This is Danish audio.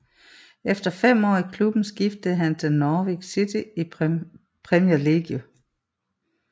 Efter fem år i klubben skiftede han til Norwich City i Premier League